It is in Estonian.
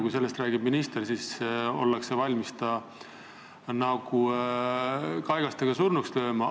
Kui sellest räägib minister, siis ollakse valmis ta kaigastega surnuks lööma.